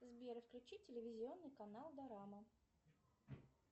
сбер включи телевизионный канал дорама